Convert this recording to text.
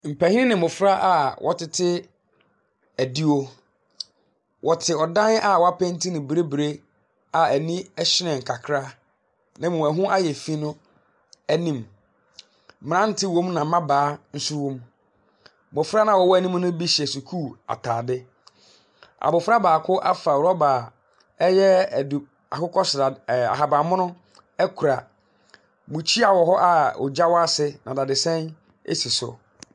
Mpanyin ne mmɔfra a wɔtete adiwo. Wɔte a ɔdan a wɔapeenti ne bibire a ani hyerɛn kakra na mmom ɛho ayɛ fi no anim. Mmerante wɔ mu na mmabaawa nso wɔ mu. Mmɔfra no a wɔwɔ anim ne bi hyehyɛ sukuu ataade. Abɔfra baako afa rɔba a ɛyɛ adu akokɔsra ɛɛɛ ahabanmono akura. Bukyia wɔ hɔ a ogya wɔ ase na dadesɛn si so.